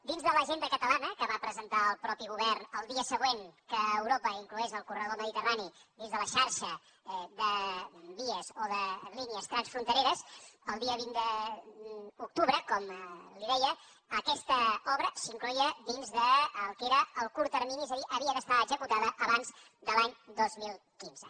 dins de l’agenda catalana que va presentar el mateix govern el dia següent que europa inclogués el corredor mediterrani dins de la xarxa de vies o de línies transfrontereres el dia vint d’octubre com li deia aquesta obra s’incloïa dins del que era el curt termini és a dir havia d’estar executada abans de l’any dos mil quinze